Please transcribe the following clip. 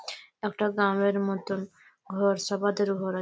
একটা ড্রাম -এর মতন ঘর সবাদের ঘর আ--